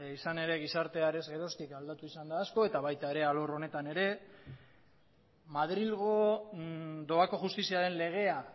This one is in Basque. izan ere gizartea arez geroztik aldatu izan da asko eta baita ere arlo honetan ere madrilgo doako justiziaren legea